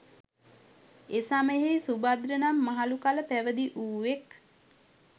එසමයෙහි සුභද්‍ර නම් මහළු කල පැවිදිවූවෙක්